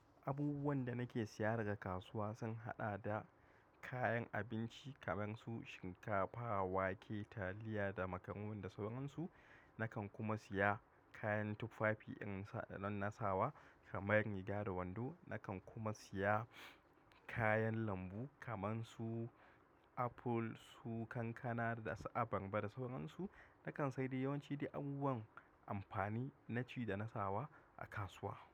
Abubuwan da nake siya daga kasuwa sun haɗa da kayan abinci kamar su shinkafa, wake, taliya da makamun da sauransu. Nakan kuma siya kayan tufafi in sa da nan na sawa kamar riga da wando. Nakan kuma siya kayan lambu kaman su apple, su kankana da abarba da sauransu. Nakan sayar da yawanci abubuwan amfani na ci da na sawa a kasuwa.